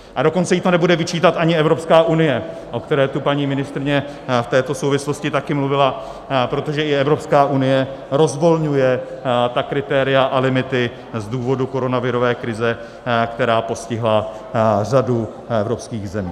A dokonce jí to nebude vyčítat ani Evropská unie, o které tu paní ministryně v této souvislosti také mluvila, protože i Evropská unie rozvolňuje ta kritéria a limity z důvodu koronavirové krize, která postihla řadu evropských zemí.